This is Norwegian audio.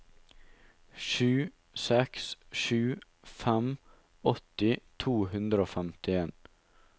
sju seks sju fem åtti to hundre og femtien